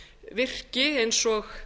virki eins og